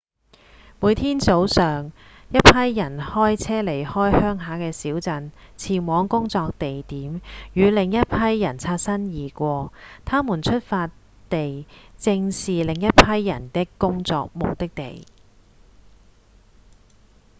每天早上一批人開車離開鄉下小鎮前往工作地點與另一批人擦身而過他們的出發地正是另一批人的工作目的地